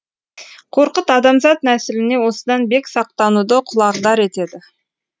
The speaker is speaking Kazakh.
қорқыт адамзат нәсіліне осыдан бек сақтануды құлағдар етеді